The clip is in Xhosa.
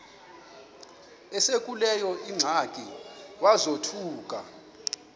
esekuleyo ingxaki wazothuka